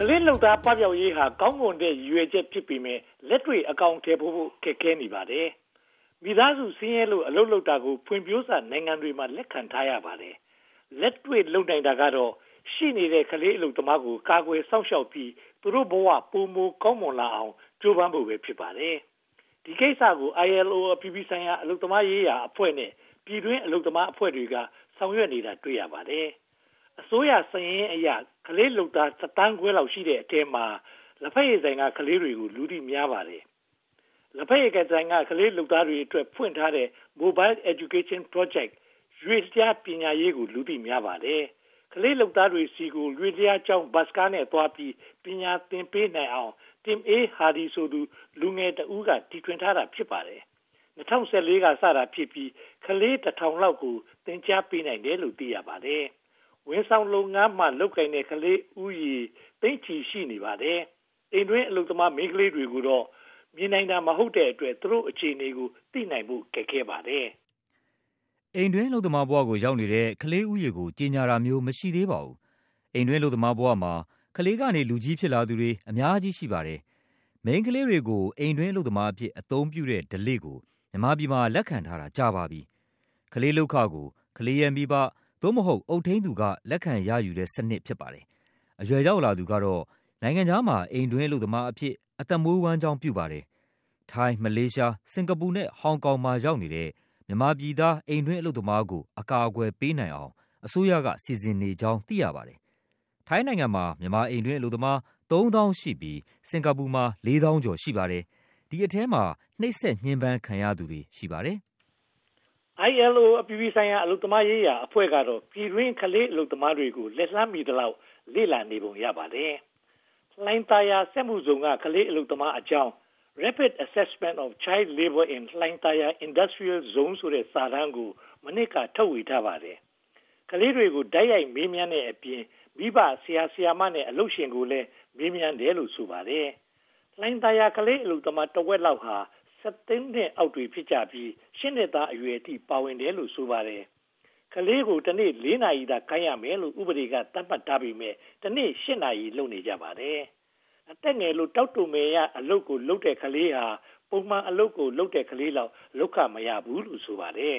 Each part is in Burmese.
ကလေးလုပ်သား ပပျောက်ရေးဟာ ကောင်းမွန်တဲ့ ရည်ရွယ်ချက်ဖြစ်ပေမယ့် လက်တွေ့အကောင်အထည်ဖော်ဖို့ ခက်ပါတယ်။ မိသားစု ဆင်းရဲလို့ အလုပ်လုပ်တာကို ဖွံ့ဖြိုးစနိုင်ငံတွေမှာ လက်ခံထားရပါတယ်။ လက်တွေ့လုပ်နိုင်တာကတော့ ရှိနေတဲ့ ကလေးအလုပ်သမားတွေကို ကာကွယ်စောင့်ရှောက်ပြီး သူတို့ဘဝ ပိုမိုကောင်းမွန်လာအောင် ကြိုးပမ်းဖို့ပဲ ဖြစ်ပါတယ်။ ဒီကိစ္စကို ILO အပြည်ပြည်ဆိုင်ရာ အလုပ်သမားရေးရာအဖွဲ့နဲ့ ပြည်တွင်းအလုပ်သမားအဖွဲ့တွေက ဆောင်ရွက်နေတာ တွေ့ရပါတယ်။ အစိုးရစာရင်းအရ ကလေးလုပ်သားတသန်းခွဲလောက်ရှိတဲ့အထဲမှာ လဘက်ရည်ဆိုင်က ကလေးတွေကို လူသိများပါတယ်။ လဘက်ရည်ဆိုင်က ကလေးလုပ်သားတွေအတွက် ဖွင့်ထားတဲ့ Mobile Education Project ရွေ့လျားပညာရေးကို လူသိများပါတယ်။ ကလေးလုပ်သားတွေဆီကို၊ ရွေ့လျားကျောင်း Bus ကားနဲ့သွားပြီး ပညာသင်ပေးနိုင်အောင် Tim Aye-Hardy ဆိုသူ လူငယ်တဦးက တီထွင်ထားတာ ဖြစ်ပါတယ်။ ၂၀၁၄ က စတာဖြစ်ပြီး ကလေး (၁၀၀၀) လောက်ကို သင်ကြားပေးနိုင်တယ်လို့ သိရပါတယ်။ ဝန်ဆောင်လုပ်ငန်းမှာ လုပ်ကိုင်နေတဲ့ ကလေးဦးရေ သိန်းချီပြီး ရှိနေပါတယ်။ အိမ်တွင်းအလုပ်သမား မိန်းကလေးတွေကိုတော့ မြင်နိုင်တာ မဟုတ်တဲ့အတွက် သူတို့အခြေအနေကို သိနိုင်ဖို့ ခက်ခဲပါတယ်။ အိမ်တွင်းအလုပ်သမားဘဝကို ရောက်နေတဲ့ ကလေးဦးရေကို ကြေညာတာမျိုး မရှိသေးပါဘူး။ အိမ်တွင်းအလုပ်သမားဘဝမှာ ကလေးကနေ လူကြီးဖြစ်လာသူတွေ အများကြီးရှိပါတယ်။ မိန်းကလေးတွေကို အိမ်တွင်းအလုပ်သမားအဖြစ် အသုံးပြုတဲ့ဓလေ့ကို မြန်မာပြည်မှာ လက်ခံထားတာ ကြာပါပြီ။ ကလေးလုပ်ခကို ကလေးရဲ့မိဘ (သို့မဟုတ်) အုပ်ထိန်းသူက လက်ခံရယူတဲ့စနစ် ဖြစ်ပါတယ်။ အရွယ်ရောက်လာသူကတော့ နိုင်ငံခြားမှာ အိမ်တွင်းအလုပ်သမားအဖြစ် အသက်မွေးဝမ်းကျောင်း ပြုပါတယ်။ ထိုင်း၊ မလေးရှား၊ စင်္ကာပူနဲ့ ဟောင်ကောင်မှာ ရောက်နေတဲ့ မြန်မာပြည်သား အိမ်တွင်းအလုပ်သမားကို အကာအကွယ်ပေးနိုင်အောင် အစိုးရက စီစဉ်နေကြောင်း သိရပါတယ်။ ထိုင်းနိုင်ငံမှာ မြန်မာအိမ်တွင်း အလုပ်သမားသုံးသောင်းရှိပြီး စင်္ကာပူမှာ လေးသောင်းကျော် ရှိပါတယ်။ ဒီအထဲမှာ နှိပ်စက်ညှဉ်းပမ်းခံရသူတွေ ရှိပါတယ်။ ILO အပြည်ပြည်ဆိုင်ရာ အလုပ်သမားအဖွဲ့ကတော့ ပြည်တွင်းအလုပ်သမားတွေကို လက်လှမ်းမိသလောက် လေ့လာနေပုံ ရပါတယ်။ လှိုင်သာယာစက်မှုဇုန်က ကလေးအလုပ်သမားအကြောင်း Rapid Assessment of Child Labour in Hlaing Thar Yar Industrial Zone ဆိုတဲ့ စာတမ်းကို မနှစ်က ထုတ်ဝေထားပါတယ်။ ကလေးတွေကို တိုက်ရိုက်မေးမြန်းတဲ့အပြင် မိဘ၊ ဆရာဆရာမနဲ့ အလုပ်ရှင်ကိုလည်း မေးမြန်းတယ်လို့ ဆိုပါတယ်။ လှိုင်သာယာ ကလေးအလုပ်သမား တဝက်ဟာ (၁၃) နှစ်အောက်တွေ ဖြစ်ကြပြီး၊ ရှစ်နှစ်သားအရွယ်အထိ ပါဝင်တယ်လို့ ဆိုပါတယ်။ ကလေးကို တနေ့ (၄) နာရီသာ ခိုင်းရမယ်လို့ ဥပဒေက သတ်မှတ်ထားပေမယ့် တနေ့ (၈) နာရီ လုပ်နေကြပါတယ်။ အသက်ငယ်လို့ တောက်တိုမယ်ရ အလုပ်ကိုလုပ်တဲ့ ကလေးဟာ ပုံမှန်အလုပ်ကို လုပ်တဲ့ကလေးလောက် လုပ်ခမရဘူးလို့ ဆိုပါတယ်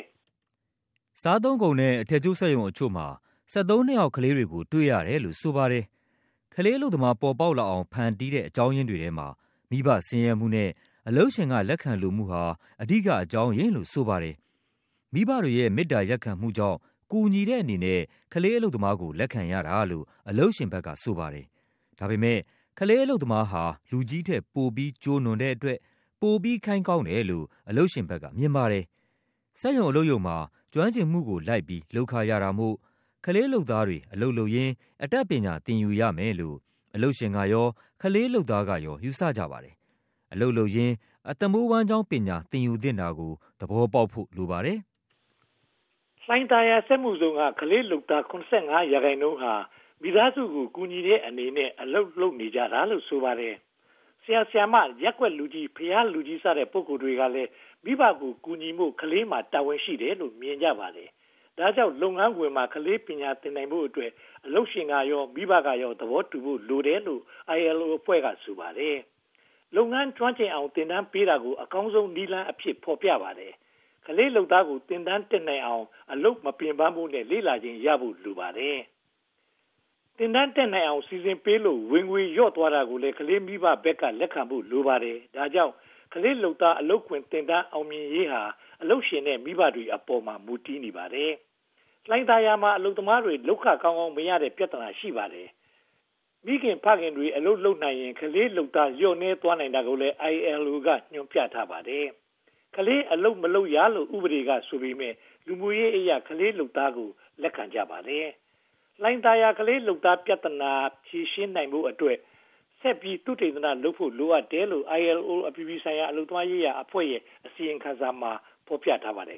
။ စားသောက်ကုန်နဲ့ အထည်ချုပ်စက်ရုံတချို့မှာ (၁၃) နှစ်အောက် ကလေးတွေကို တွေ့ရတယ်လို့ ဆိုပါတယ်။ ကလေးအလုပ်သမား ပေါ်ပေါက်လာအောင် ဖန်တီးတဲ့ အကြောင်းရင်းတွေထဲမှာ မိဘဆင်းရဲမှုနဲ့ အလုပ်ရှင်က လက်ခံလိုမှုဟာ အဓိက အကြောင်းရင်းလို့ ဆိုပါတယ်။ မိဘတွေရဲ့ မေတ္တာရပ်ခံမှုကြောင့် ကူညီတဲ့အနေနဲ့ ကလေးအလုပ်သမားကို လက်ခံရတာလို့ အလုပ်ရှင်ဘက်က ဆိုပါတယ်။ ဒါပေမဲ့ ကလေးအလုပ်သမားဟာ လူကြီးထက်ပိုပြီး ကျိုးနွံတဲ့အတွက် ပိုပြီးခိုင်းကောင်းတယ်လို့ အလုပ်ရှင်ဘက်က မြင်ပါတယ်။ စက်ရုံအလုပ်ရုံမှာ ကျွမ်းကျင်မှုကိုလိုက်ပြီး လုပ်ခရတာမို့ ကလေးလုပ်သားတွေ အလုပ်လုပ်ရင်း အတတ်ပညာသင်ယူရမယ်လို့ အလုပ်ရှင်ကရော ကလေးလုပ်သားကရော ယူဆကြပါတယ်။ အလုပ်လုပ်ရင်း အသက်မွေးဝမ်းကျောင်းပညာ သင်ယူသင့်တာကို သဘောပေါက်ဖို့ လိုပါတယ်။ လှိုင်သာယာစက်မှုဇုန်က ကလေးလုပ်သား (၇၅) ရာခိုင်နှုန်းဟာ မိသားစုကို ကူညီတဲ့အနေနဲ့ အလုပ်လုပ်နေကြတာလို့ ဆိုပါတယ်။ ဆရာဆရာမ၊ ရပ်ကွက်လူကြီး၊ ဘုရားလူကြီး စတဲ့ ပုဂ္ဂိုလ်တွေကလည်း မိဘကို ကူညီဖို့ ကလေးမှာ တာဝန်ရှိတယ်လို့ မြင်ကြပါတယ်။ ဒါကြောင့် လုပ်ငန်းခွင်မှာ ကလေးပညာ သင်နိုင်ဖို့အတွက် အလုပ်ရှင်ကရော မိဘကရော သဘောတူဖို့ လိုတယ်လို့ ILO အဖွဲ့က ဆိုပါတယ်။ လုပ်ငန်းကျွမ်းကျင်အောင် သင်တန်းပေးတာကို အကောင်းဆုံးနည်းလမ်းအဖြစ် ဖော်ပြပါတယ်။ ကလေးလုပ်သားတွေ သင်တန်းတက်နိုင်အောင် အလုပ်မပင်ပန်းဖို့နဲ့ လေ့လာချိန်ရဖို့ လိုအပ်ပါတယ်။ သင်တန်းတက်နိုင်အောင် စီစဉ်ပေးလို့ ဝင်ငွေလျော့သွားနိုင်တာကို ကလေးမိဘက လက်ခံဖို့ လိုအပ်ပါတယ်။ ဒါကြောင့် ကလေးလုပ်သား အလုပ်ခွင်သင်တန်း အောင်မြင်ရေးဟာ အလုပ်ရှင်နဲ့ မိဘအပေါ်မှာ မူတည်နေပါတယ်။ လှိုင်သာယာမှာ အလုပ်သမားတွေ လုပ်ခကောင်းကောင်းမရတဲ့ ပြဿနာ ရှိပါတယ်။ မိခင်ဖခင်တွေ အလုပ်လုပ်နိုင်ရင် ကလေးလုပ်သား လျော့နည်းသွားနိုင်တာကိုလည်း ILO က ညွှန်ပြထားပါတယ်။ ကလေးအလုပ်မလုပ်ရလို့ ဥပဒေက ဆိုပေမယ့် လူမှုရေးအရ ကလေးလုပ်သားကို လက်ခံကြပါတယ်။ လှိုင်သာယာ ကလေးလုပ်သား ပြဿနာဖြေရှင်းဖို့အတွက် ဆက်ပြီး သုတေသနလုပ်ဖို့ လိုအပ်တယ်လို့ ILO အပြည်ပြည်ဆိုင်ရာ အလုပ်သမားရေးရာအဖွဲ့ရဲ့ အစီရင်ခံစာမှာ ဖော်ပြထားပါတယ်